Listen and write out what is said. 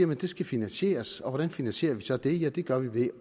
man det skal finansieres og hvordan finansierer vi så det ja det gør vi ved